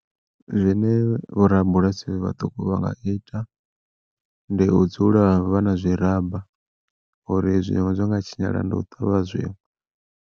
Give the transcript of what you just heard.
Zwine vhorabulasi vhaṱuku vha nga ita ndi u dzula vha na zwi ramba uri zwiṅwe zwa nga tshinyala ndi u ṱavha zwiṅwe.